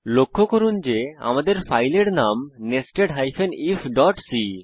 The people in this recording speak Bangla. লক্ষ্য করুন যে আমাদের ফাইলের নাম nested ifসি